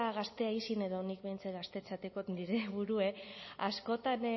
gazteei izin edo nik behintzat gaztetzat dekot nire burua askotan